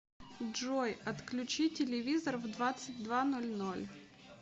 джой отключи телевизор в двадцать два ноль ноль